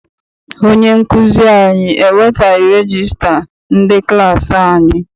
Onye nkụzi anyị ewetaghi regista ndị klassi anyị.